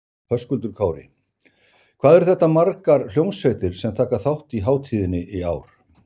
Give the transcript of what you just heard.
Höskuldur Kári: Hvað eru þetta margar hljómsveitir sem taka þátt í hátíðinni í ár?